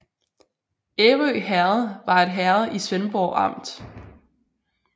Ærø Herred var et herred i Svendborg Amt